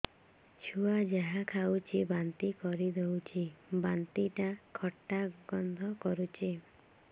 ଛୁଆ ଯାହା ଖାଉଛି ବାନ୍ତି କରିଦଉଛି ବାନ୍ତି ଟା ଖଟା ଗନ୍ଧ କରୁଛି